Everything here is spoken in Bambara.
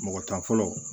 Mɔgɔ tan fɔlɔ